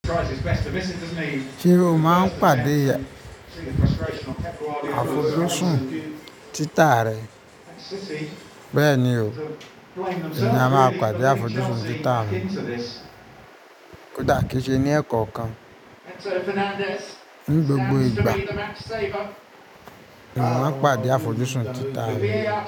Ṣé o má padà àfojúsùn títà rẹ? Bẹ́ẹ̀ni o. Èmi a má pàdé àfojúsùn títà mi. Kò dá kí n ṣe ni ẹkankan. Ní gbogbo ìgbà, mọ má pàdé àfojúsùn títà mi.